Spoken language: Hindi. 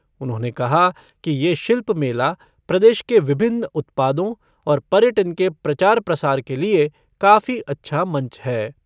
उन्होंने कहा कि ये शिल्प मेला प्रदेश के विभिन्न उत्पादों और पर्यटन के प्रचा प्रसार के लिए काफी अच्छा मंच है।